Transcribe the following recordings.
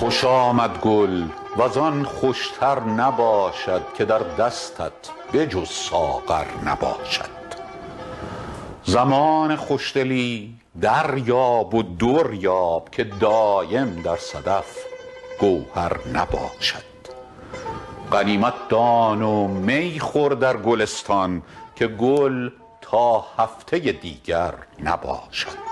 خوش آمد گل وز آن خوش تر نباشد که در دستت به جز ساغر نباشد زمان خوش دلی دریاب و در یاب که دایم در صدف گوهر نباشد غنیمت دان و می خور در گلستان که گل تا هفته دیگر نباشد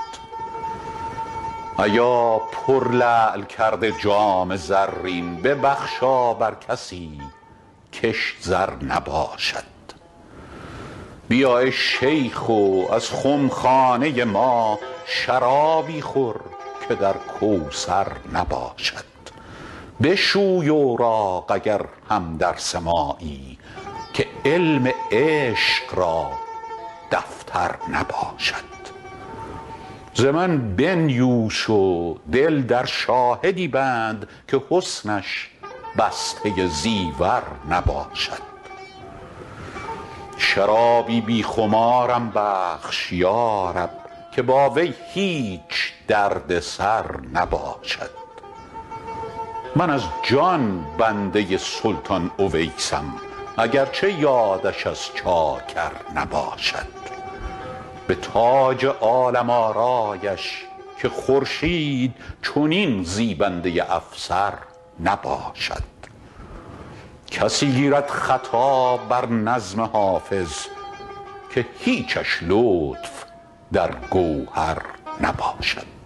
ایا پرلعل کرده جام زرین ببخشا بر کسی کش زر نباشد بیا ای شیخ و از خم خانه ما شرابی خور که در کوثر نباشد بشوی اوراق اگر هم درس مایی که علم عشق در دفتر نباشد ز من بنیوش و دل در شاهدی بند که حسنش بسته زیور نباشد شرابی بی خمارم بخش یا رب که با وی هیچ درد سر نباشد من از جان بنده سلطان اویسم اگر چه یادش از چاکر نباشد به تاج عالم آرایش که خورشید چنین زیبنده افسر نباشد کسی گیرد خطا بر نظم حافظ که هیچش لطف در گوهر نباشد